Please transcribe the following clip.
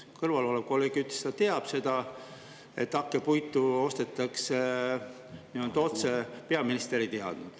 Su kõrval olev kolleeg ütles, et ta teab seda, et hakkepuitu ostetakse nii-öelda otse, peaminister ei teadnud.